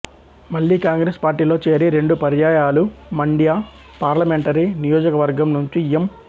మళ్ళీ కాంగ్రెస్ పార్టీలో చేరి రెండు పర్యాయాలు మండ్య పార్లమెంటరీ నియోజక వర్గం నుంచి ఎం